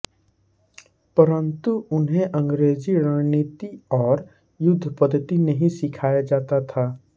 परन्तु उन्हें अंग्रेजी रणनीति और युद्ध पद्धति नहीं सिखाया जाता था